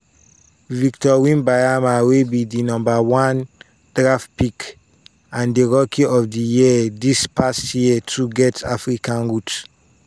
"victor wembanyama wey be di number one draft pick and di rookie of di year dis past year too get african roots."